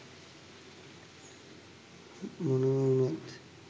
මොනව වුණත්